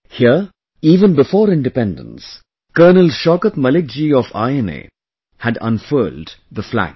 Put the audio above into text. Here, even before Independence, Col Shaukat Malik ji of INA had unfurled the Flag